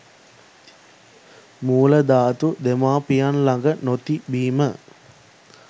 මූල ධාතු දෙමව්පියන් ළඟ නොතිබීම.